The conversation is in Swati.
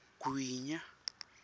gwinya